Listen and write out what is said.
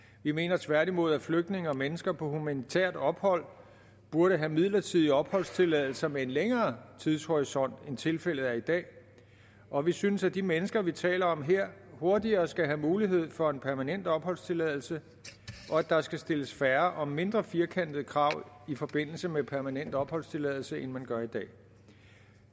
vi mener tværtimod at flygtninge og mennesker på humanitært ophold burde have midlertidig opholdstilladelse med en længere tidshorisont end tilfældet er i dag og vi synes at de mennesker vi taler om her hurtigere skal have mulighed for en permanent opholdstilladelse og at der skal stilles færre og mindre firkantede krav i forbindelse med permanent opholdstilladelse end man gør i dag